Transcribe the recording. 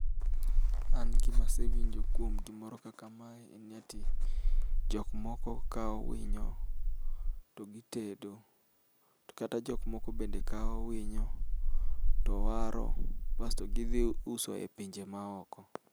An gima asewinjo kuom gimoro kaka mae en ni ati, jok moko kao winyo togitedo tokata jok moko bende kao winyo towaro , basto gi dhiuso epinje maoko.